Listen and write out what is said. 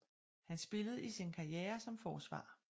Han spillede i sin karriere som forsvar